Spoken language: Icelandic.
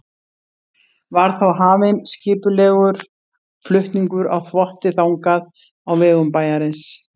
Var þá hafinn skipulegur flutningur á þvotti þangað á vegum bæjarins.